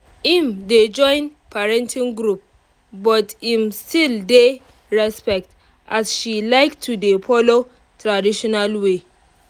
im dey join parenting group but im still dey respect as she like to dey follow traditional way